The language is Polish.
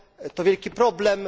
To wielki problem.